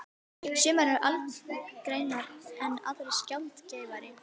Sumar eru algengar en aðrar sjaldgæfari.